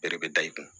Bɛɛ de bɛ da i kun